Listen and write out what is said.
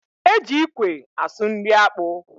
E ji ikwe asụ nri akpu